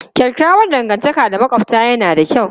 Kyakkyawar dangantaka da makwabta yana da kyau.